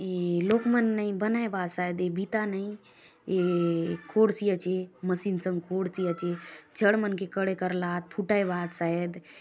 ये लोक मन नई बनाय बा आत शायद ये बिता नई ये खोडसी आचे मशीन संगे खोडसी आचे छड मन के खड़े करला आत फूटाय बा आत शायद --